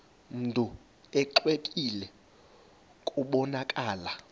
mntu exwebile kubonakala